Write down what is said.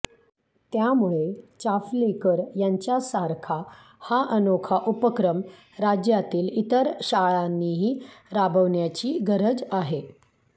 त्यामुळे चाफलेकर यांच्यासारखा हा अनोखा उपक्रम राज्यातील इतर शाळांनीही राबवण्याची गरज आहे